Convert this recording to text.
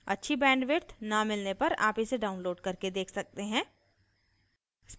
अच्छी bandwidth न मिलने पर आप इसे download करके देख सकते हैं